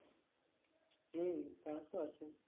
হম তাতো আছে